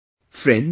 Friends,